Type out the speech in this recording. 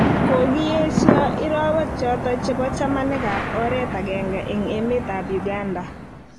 Kogiyesiok irowek choton chebo chamanik ab oret agenge en emet ab Uganda.